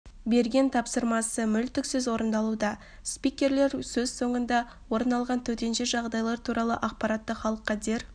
берген тапсырмасы мүлтіксіз орындалуда спикерлер сөз соңында орын алған төтенше жағдайлар туралы ақпаратты халыққа дер